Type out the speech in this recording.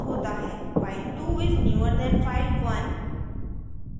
file2 is newer than file1